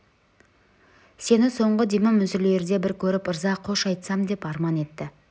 сені соңғы демім үзілерде бір көріп ырза қош айтсам деп арман етті